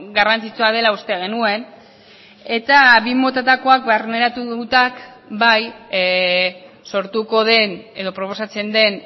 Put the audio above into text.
garrantzitsua dela uste genuen eta bi motatakoak barneratutak bai sortuko den edo proposatzen den